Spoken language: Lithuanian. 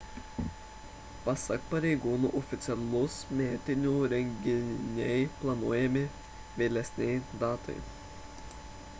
pasak pareigūnų oficialūs metinių renginiai planuojami vėlesnei datai